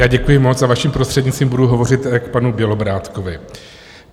Já děkuji moc a vaším prostřednictvím budu hovořit k panu Bělobrádkovi.